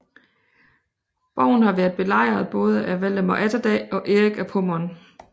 Borgen har været belejret både af Valdemar Atterdag og Erik af Pommern